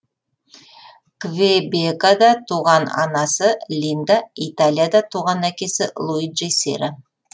квебекада туған анасы линда италияда туған әкесі луиджи сера